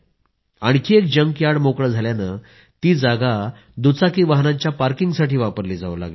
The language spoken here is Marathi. आणखी एक जंकयार्ड मोकळं झाल्यानं ती जागा दुचाकी वाहनांच्या पार्किंगसाठी वापरली जावू लागली